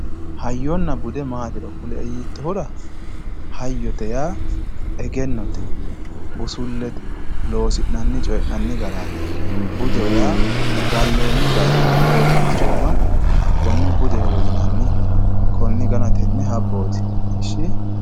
hayyonna bude maatiro kuli'e yiitohura hayyote yaa egennote busullete losi'nanni ce'nani garaati budeho yaa galloonni galtooma woy balchooma hakkone budehowe yinanni koni gana tene habooti